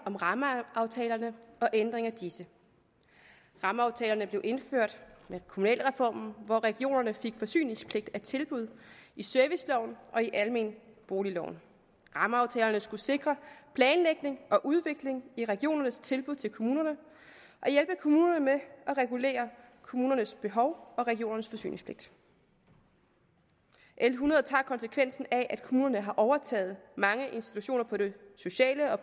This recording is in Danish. om rammeaftalerne og ændringer af disse rammeaftalerne blev indført med kommunalreformen hvor regionerne fik forsyningspligt af tilbud i serviceloven og i almenboligloven rammeaftalerne skulle sikre planlægning og udvikling i regionernes tilbud til kommunerne og hjælpe kommunerne med at regulere kommunernes behov og regionernes forsyningspligt l hundrede tager konsekvensen af at kommunerne har overtaget mange institutioner på det sociale og